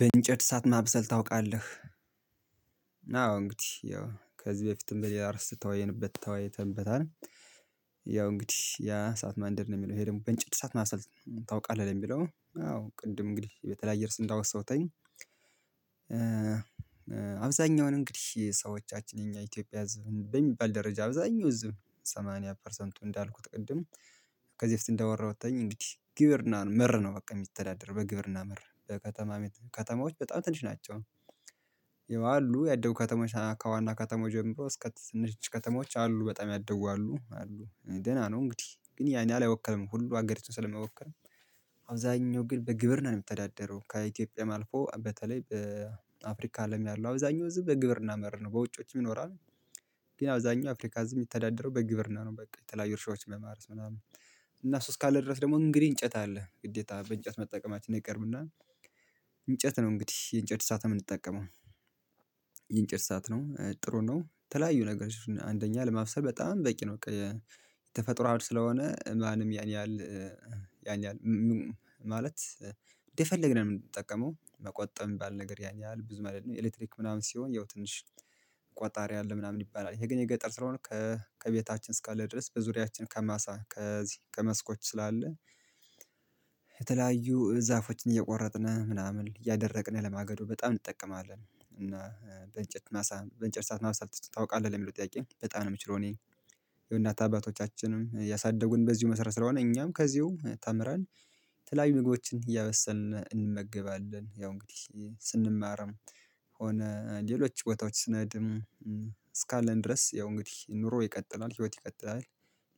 በእንጨት እሳት ማብሰል ታውቃለህ? አዎ እንግዲህ ያው ከዚህ በፊትም በሌላ አርስ የተወያየንበት ተወያይተንበታል። ያው እንግዲህ ያ እሳት ማንደድ ነው የሚለው ይሄ ደግሞ በእንጨት እሳት ማብሰል ታውቃለህ ነው የሚለው አዎ ቅድም እንግዲህ የተለያየ እርስ እንዳወሳውትኝ። አብዛኛውን እንግዲህ ሰዎቻችን የኛ የኢትዮጵያ ህዝብ በሚባል ደረጃ አብዛኛው ህዝብ ሰማንያ ፐርሰንቱ እንዳልኩት ቅድም ከዚህ በፊት እንዳወራሁትኝ እንግዲህ ግብርና መር ነው በቃ የሚተዳደር በግብርና መር በከተማ ከተማዎች በጣም ትንሽ ናቸው። ያው አሉ ያደጉ ከተሞች ከዋና ከተሞች ጀምሮ እስከ ትንሽ ከተሞች አሉ በጣም ያደጉ አሉ አሉ ደህና ነው። እንግዲህ ግን ያን ያህል አይወክልም ሁሉ አገሪቱን ስለሚወከል። አብዛኛው ግን በግብርና ነው የሚተዳደረው ከኢትዮጵያም አልፎ በተለይ በአፍሪካ አለም ያለው አብዛኛው ህዝብ በግብርና መር ነው በውጮችም ይኖራሉ። ግን አብዛኛው አፍሪካ ህዝብ የሚተዳደረው በግብርና ነው በቃ የተለያዩ እርሻዎችን በማረስ ምናምን። እና እሱ እስካለ ድረስ ደግሞ እንግዲህ እንጨት አለ ግዴታ በእንጨት መጠቀማችን አይቀርምና። እንጨት ነው እንግዲህ የእንጨት እሳት የምንጠቀመው። የእንጨት እሳት ነው ጥሩ ነው የተለያዩ ነገሮችን አንደኛ ለማበሰል በጣም በቂ ነው። ተፈጥሮ ስለሆነ ማንም ያን ያህል ያን ያህል ማለት እንደፈለግነው ነው የምንጠቀመው መቆጠብ የሚባል ነገር ያን ያህል ብዙም አይደለም። ኤሌክትሪክ ምናምን ሲሆን ያው ትንሽ ቆጣሪ አለ ምናምን ይባላል የገጠር ስለሆነ ከቤታችን እስካለ ድረስ በዙሪያችን ከማሳ ከዚህ ከመስኮች ስላለ። የተለያዩ ዛፎችን እየቆረጥን ምናምን እያደረቅን ለማገዶ በጣም እንጠቀማለን እና በእንጨት ማሳ በእንጨት እሳት ማብሰል ታውቃለህ ለሚለው ጥያቄ በጣም ነው የምችለው እኔ። የእናት አባቶቻችንም ያሳደጉን በዚሁ መሰረት ስለሆነ እኛም ከዚሁ ተምረን የተለያዩ ምግቦችን እያበሰልን እንመገባለን። ያው እንግዲህ ስንማርም ሆነ ሌሎች ቦታዎች ስንሄድም እስካለን ድረስ ያው እንግዲህ ኑሮ ይቀጥላል ህይወት ይቀጥላል።